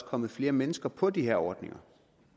kommet flere mennesker på de her ordninger